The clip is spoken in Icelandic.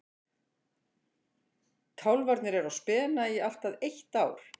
Kálfarnir eru á spena í allt að eitt ár.